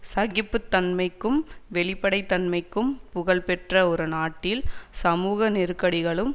சகிப்புத் தன்மைக்கும் வெளிப்படைத்தன்மைக்கும் புகழ்பெற்ற ஒரு நாட்டில் சமூக நெருக்கடிகளும்